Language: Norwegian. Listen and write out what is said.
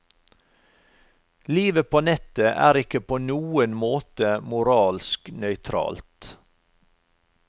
Livet på nettet er ikke på noen måte moralsk nøytralt.